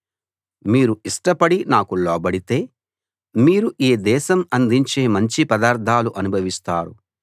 మీరు ఇష్టపడి నాకు లోబడితే మీరు ఈ దేశం అందించే మంచి పదార్ధాలు అనుభవిస్తారు